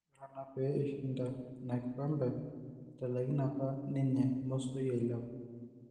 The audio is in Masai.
Ore enaa peyie eishinda ina kikombe, etalakine apa ninye Mosoi ailepu